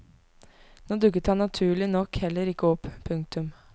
Nå dukket han naturlig nok heller ikke opp. punktum